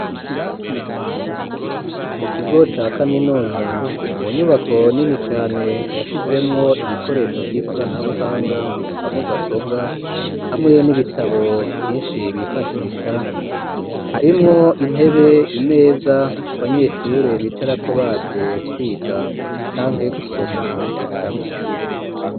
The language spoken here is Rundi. Mu kigo ca kaminuza mu nyubako nini cane yashizemwo ibikoresho vy'ikoranabuhanga ga mudasobwa hamwe n'ibitabo vyinshi bifashisha harimwo intebe ,imeza abanyeshure bicarako baje kwiga canke he gusoma ibitabo.